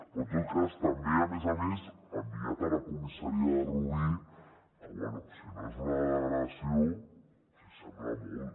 però en tot cas també a més a més enviat a la comissaria de rubí que bé si no és una degradació s’hi assembla molt